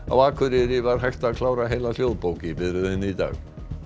á Akureyri var hægt var að klára heila hljóðbók í biðröðinni í dag